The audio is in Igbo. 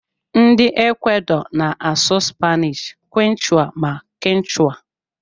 Ndi equador na asụ spainish, quechua, ma kichwa.